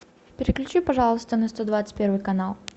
переключи пожалуйста на сто двадцать первый канал